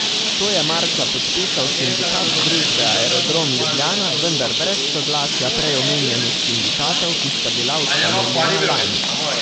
To je marca podpisal Sindikat družbe Aerodrom Ljubljana, vendar brez soglasja prej omenjenih sindikatov, ki sta bila ustanovljena lani.